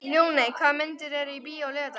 Ljóney, hvaða myndir eru í bíó á laugardaginn?